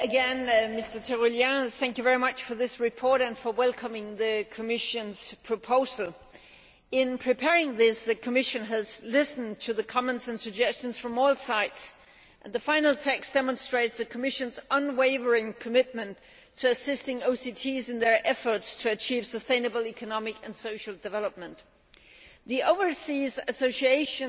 Mr President, I would like to thank Mr Tirolien once again for this report and for welcoming the Commission's proposal. In preparing this, the Commission has listened to the comments and suggestions from all sides and the final text demonstrates the Commission's unwavering commitment to assisting OCTs in their efforts to achieve sustainable economic and social development. The Overseas Association